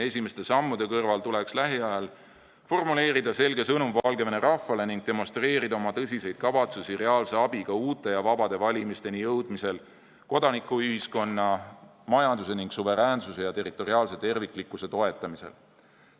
Esimeste sammude kõrval tuleks lähiajal formuleerida selge sõnum Valgevene rahvale ning demonstreerida oma tõsiseid kavatsusi reaalse abiga uute ja vabade valimisteni jõudmisel, kodanikühiskonna, majanduse ja suveräänse terviklikkuse toetamisel.